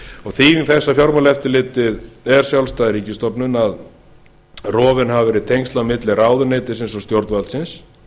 þýðing þess að fjármálaeftirlitið er sjálfstæð ríkisstofnun að rofin hafa verið tengsl á milli ráðuneytisins og stjórnvaldsins